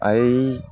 Ayi